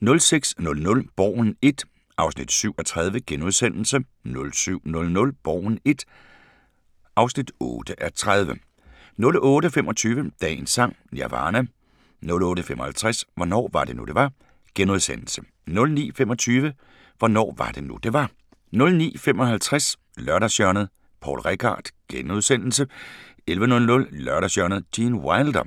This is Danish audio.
06:00: Borgen I (7:30)* 07:00: Borgen I (8:30) 08:25: Dagens Sang: Nirvana 08:55: Hvornår var det nu det var * 09:25: Hvornår var det nu det var 09:55: Lørdagshjørnet – Poul Reichhardt * 11:00: Lørdagshjørnet - Gene Wilder